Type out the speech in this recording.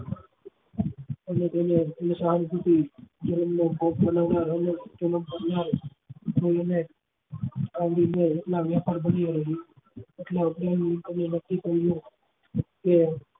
અમુક એવી સહાનુભુતિ જીવન જોઈ ને આવરી લે એટલા